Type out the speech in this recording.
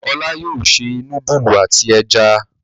Olá yóò se núdúlù àti ẹja.